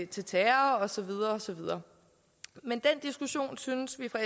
til terror og så videre og så videre men den diskussion synes vi fra